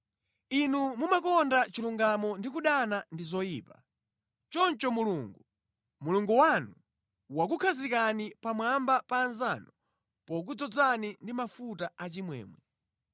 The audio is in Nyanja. Inu mumakonda chilungamo ndi kudana ndi zoyipa; choncho Mulungu, Mulungu wanu, wakukhazikani pamwamba pa anzanu pokudzozani ndi mafuta a chimwemwe.